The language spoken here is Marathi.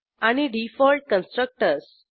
आणि डिफॉल्ट कन्स्ट्रक्टर्स